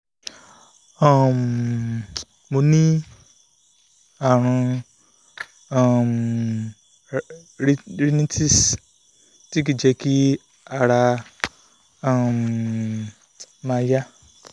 um mo ní àrùn um rhinitis tí kì í jẹ́ kí ara um máa yá